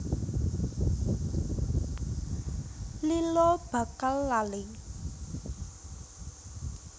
Lila bakal lali